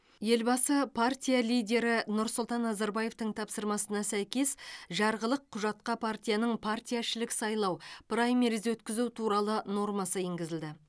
елбасы партия лидері нұрсұлтан назарбаевтың тапсырмасына сәйкес жарғылық құжатқа партияның партияішілік сайлау праймериз өткізу туралы нормасы енгізілді